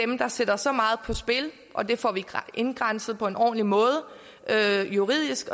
dem der sætter så meget på spil og det får vi indgrænset på en ordentlig måde juridisk